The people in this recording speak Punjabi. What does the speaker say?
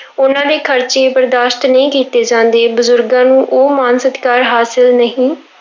ਉਹਨਾਂ ਦੇ ਖ਼ਰਚੇ ਬਰਦਾਸ਼ਤ ਨਹੀਂ ਕੀਤੇ ਜਾਂਦੇ, ਬਜ਼ੁਰਗਾਂ ਨੂੰ ਉਹ ਮਾਣ ਸਤਿਕਾਰ ਹਾਸਿਲ ਨਹੀਂ